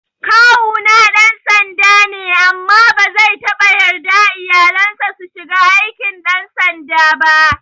Kawuna ɗan sanda ne amma bazai taɓa yarda iyalansa su shiga aikin ɗan sanda ba